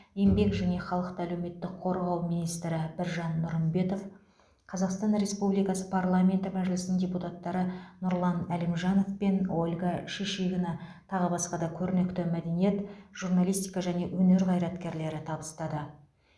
еңбек және халықты әлеуметтік қорғау министрі біржан нұрымбетов қазақстан республикасы парламенті мәжілісінің депутаттары нұрлан әлімжанов пен ольга шишигина тағы басқа да көрнекті мәдениет журналистика және өнер қайраткерлері табыстады